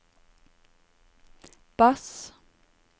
bass